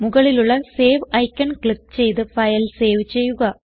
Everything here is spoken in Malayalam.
മുകളിലുള്ള സേവ് ഐക്കൺ ക്ലിക്ക് ചെയ്ത് ഫയൽ സേവ് ചെയ്യുക